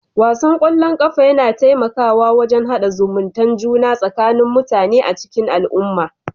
Wasan ƙwallon ƙafa yana taimakawa wajen hada zumuntae juna tsakanin mutane a cikin al'umma